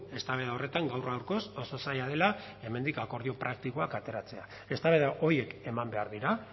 eztabaida horretan gaur gaurkoz oso zaila dela hemendik akordio praktikoak ateratzea eztabaida horiek eman behar dira